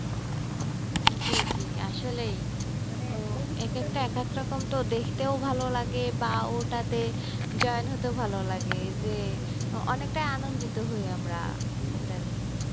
জি জি আসলেই রকম তো দেখতেও ভালো লাগে বা ওটাতে join হতেও ভালো লাগে যে অনেকটা আনন্দিত হই আমরা ওটা নিয়ে।